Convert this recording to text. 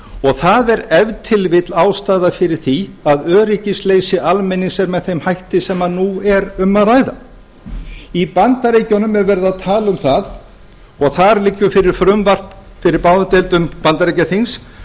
og það er ef til vill ástæðan fyrir því að öryggisleysi almennings er með þeim hætti sem nú er um að ræða í bandaríkjunum er verið að tala um það og þar liggur fyrir frumvarp fyrir báðum deildum bandaríkjaþings